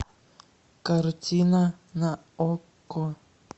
картина на окко